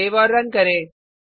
save औऱ run करें